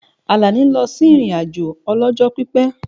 Àlàní lọ sí ìrìn-àjò ọlọ́jọ́ pípẹ́